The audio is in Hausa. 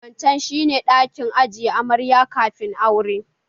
Wancan shi ne ɗakin ajiye amarya kafin aure